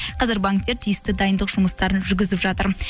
қазір банктер тиісті дайындық жұмыстарын жүргізіп жатыр